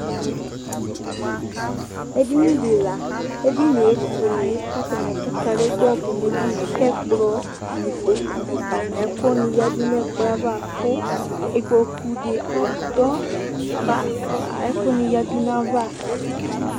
Edinidi lanʋtɛ, edinie efuele kʋ kadegba tʋnʋ edinie kʋ ɛkplɔ nʋ ikpokʋ nʋ ɛkʋni yadʋnʋ ɛkplɔ yɛ ava kʋ ikpokʋdi adɔ kʋ ɛkʋni yadʋ nʋ ayava